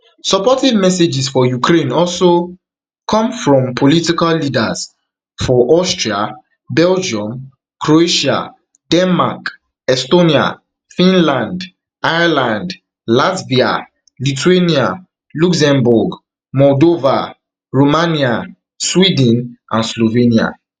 supportive messages for ukraine also come from political leaders for austria belgium croatia denmark estonia finland ireland latvia lithuania luxembourg moldova romania sweden and slovenia